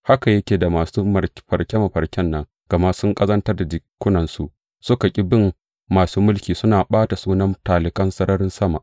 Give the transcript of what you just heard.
Haka yake da masu mafarke mafarken nan, gama sun ƙazantar da jikunansu, suka ƙi bin masu mulki, suna ɓata sunan talikan sararin sama.